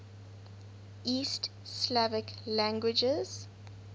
east slavic languages